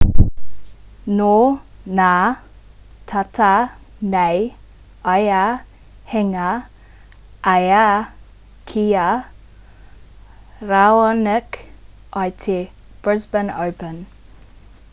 nō nā tata nei ia hinga ai ki a raonic i te brisbane open